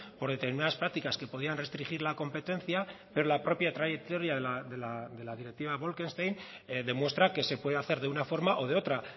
por determinadas prácticas que podían restringir la competencia pero la propia trayectoria de la directiva bolkestein demuestra que se puede hacer de una forma o de otra